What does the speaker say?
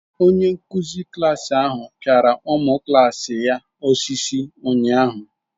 Onyenkụ̀zi klasi ahụ pịara ụmụ klaasi ya osisi ụnyaahụ